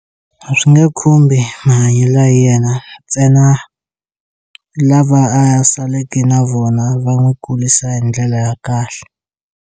A swi nge khumbi mahanyelo ya yena ntsena lava a ya saleke na vona va n'wi kurisa hi ndlela ya kahle.